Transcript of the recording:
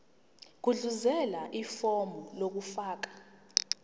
gudluzela ifomu lokufaka